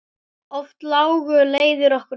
Oft lágu leiðir okkar saman.